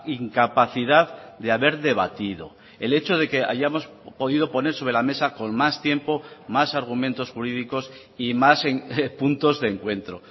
incapacidad de haber debatido el hecho de que hayamos podido poner sobre la mesa con más tiempo más argumentos jurídicos y más puntos de encuentro